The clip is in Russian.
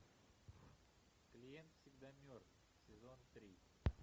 клиент всегда мертв сезон три